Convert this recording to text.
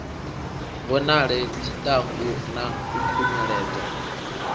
vhonale tshiṱangu na u khunyeledza